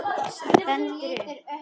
Stendur upp.